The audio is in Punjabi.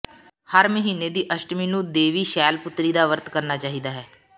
ਹਰ ਮਹੀਨੇ ਦੀ ਅਸ਼ਟਮੀ ਨੂੰ ਦੇਵੀ ਸ਼ੈਲ ਪੁੱਤਰੀ ਦਾ ਵਰਤ ਕਰਨਾ ਚਾਹੀਦਾ ਹੈ